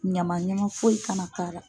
Ɲamaɲama foyi kana k'a la.